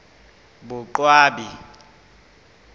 boqwabi